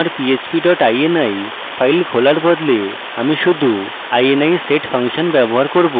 আমার php dot ini file খোলার বদলে আমি শুধু ini set ফাংশন ব্যবহার করব